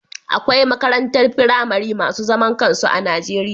Akwai makarantar firamare masu zaman kansu a Najeriya